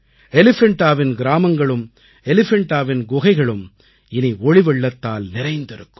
எலிஃபண்டாவின் கிராமங்களும் எலிஃபண்டாவின் குகைகளும் இனி ஒளி வெள்ளத்தால் நிறைந்திருக்கும்